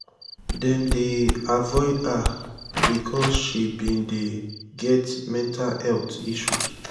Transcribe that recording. dem dey avoid her because she bin dey get mental health issues.